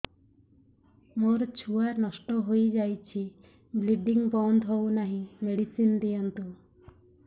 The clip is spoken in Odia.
ମୋର ଛୁଆ ନଷ୍ଟ ହୋଇଯାଇଛି ବ୍ଲିଡ଼ିଙ୍ଗ ବନ୍ଦ ହଉନାହିଁ ମେଡିସିନ ଦିଅନ୍ତୁ